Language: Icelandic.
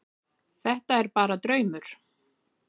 Þetta er bara draumur.